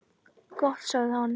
Gott sagði hann.